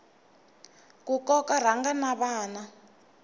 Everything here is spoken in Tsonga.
ku koka rhanga na vana